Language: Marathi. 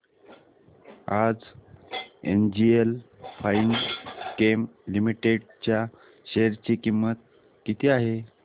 आज एनजीएल फाइनकेम लिमिटेड च्या शेअर ची किंमत किती आहे